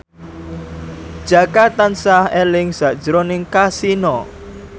Jaka tansah eling sakjroning Kasino